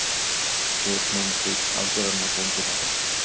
Stjórnandi aðgerðanna greindi frá þessu